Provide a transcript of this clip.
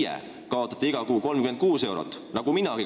Teie kaotate iga kuu 36 eurot nagu minagi.